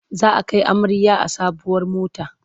Za a kai amarya a sabuwar mota.